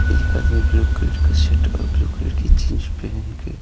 एक आदमी blue colour का शर्ट और ब्लू कलर की जींस पेहेन के --